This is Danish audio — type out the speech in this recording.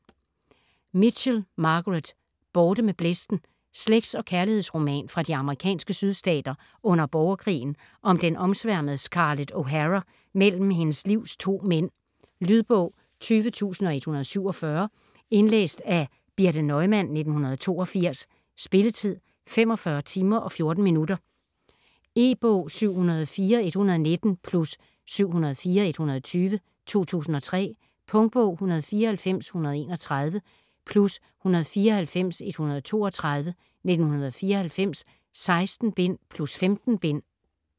Mitchell, Margaret: Borte med blæsten Slægts- og kærlighedsroman fra de amerikanske sydstater under borgerkrigen om den omsværmede Scarlett O'Hara mellem hendes livs to mænd. Lydbog 20147 Indlæst af Birthe Neumann, 1982. Spilletid: 45 timer, 14 minutter. E-bog 704119 + 704120 2003. Punktbog 194131 + 194132 1994.16 bind + 15 bind.